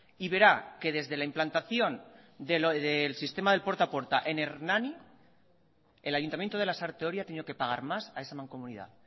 y verá que desde la implantación del sistema del puerta a puerta en hernani el ayuntamiento de lasarte oria ha tenido que pagar más a esa mancomunidad